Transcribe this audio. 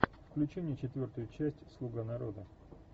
включи мне четвертую часть слуга народа